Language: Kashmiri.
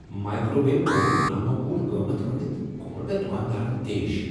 مایکروویو آوٕنک نا معقول قیمت ونِتھ کھول مےٚ دکاندارن طیش۔